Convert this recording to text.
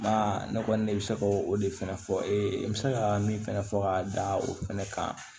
Ba ne kɔni ne bɛ se ka o de fɛnɛ fɔ e ye n bɛ se ka min fɛnɛ fɔ ka da o fɛnɛ kan